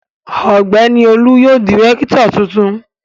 Ọ̀gbẹ́ni Olu yóò di rẹ́kítọ̀ tuntun.